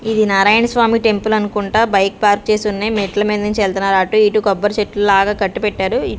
ఇది నారాయణస్వామి టెంపుల్ అనుకుంటా bike park చేసి ఉన్నాయి మెట్ల మీద నుంచి వెళ్తున్నారు అటు ఇటు కొబ్బరి చెట్లు లాగా కట్టిపెట్టారు.